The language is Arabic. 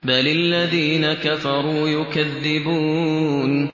بَلِ الَّذِينَ كَفَرُوا يُكَذِّبُونَ